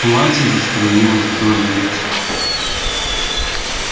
платье заструилось вдоль её тела